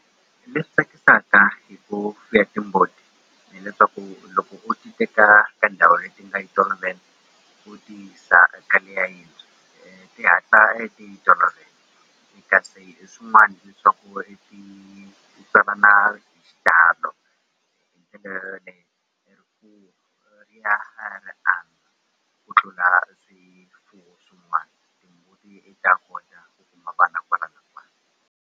Leswi tsakisaka hi ku fuya timbuti hileswaku loko u ti teka ka ndhawu leyi ti nga yi tolovelea u ti yisa ka le ya yintshwa ti hatla ti yi tolovela kasi leswin'wani swa ku va i ti tswalana hi xitalo ku tlula swifuwo swin'wana ti ta kota ku kuma vana kwala na kwala.